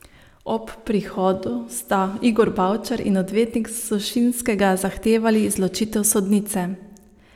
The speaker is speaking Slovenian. Ob prihodu sta Igor Bavčar in odvetnik Sušinskega zahtevali izločitev sodnice.